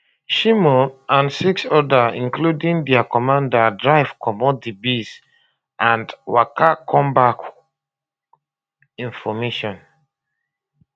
shimon and six odas including dia commander drive comot di base and waka come back in formation